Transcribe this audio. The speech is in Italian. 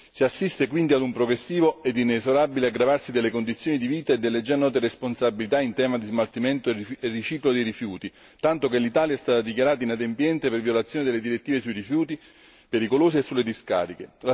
Si assiste quindi ad un progressivo ed inesorabile aggravarsi delle condizioni di vita e delle già note responsabilità in tema di smaltimento e riciclo dei rifiuti, tanto che l'Italia è stata dichiarata inadempiente per violazione delle direttive sui rifiuti pericolosi e sulle discariche.